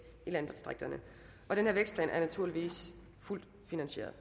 i landdistrikterne og den vækstplan er naturligvis fuldt finansieret